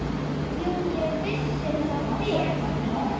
Jú, ég vissi það vel.